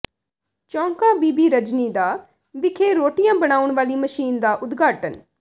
ਚੌਕਾਂ ਬੀਬੀ ਰਜ਼ਨੀ ਦਾ ਵਿਖੇ ਰੋਟੀਆਂ ਬਣਾਉਣ ਵਾਲੀ ਮਸ਼ੀਨ ਦਾ ਉਦਘਾਟਨ